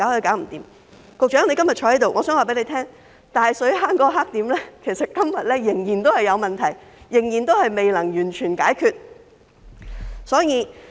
藉着局長今天在席，我想告訴他，大水坑那個黑點，今天仍然有問題，仍然未能完全解決。